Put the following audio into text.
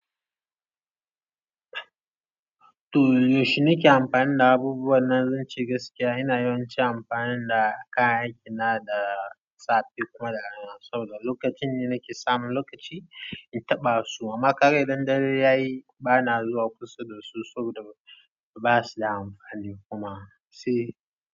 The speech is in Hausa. To yaushe nake amfani da abubuwa? Nan zan ce gaskiya, ina yawan ci amfani da kayan aikina da safe kuma da rana, saboda lokacin ne nake samun lokaci in taɓa su. Amma kaga idan dare ya yi bana zuwa kusa da su saboda ba su da amfani kuma sai.